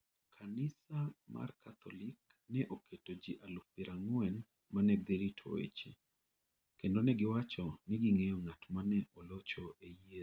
Kanisa mar Katholik ne oketo ji aluf piero ang'wen ma ne dhi rito weche, kendo ne giwacho ni ging'eyo ng'at ma ne olocho e yiero.